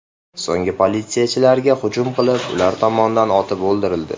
So‘ng politsiyachilarga hujum qilib, ular tomonidan otib o‘ldirildi .